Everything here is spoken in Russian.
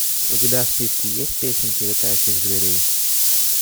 у тебя в списке есть песенки летающих зверей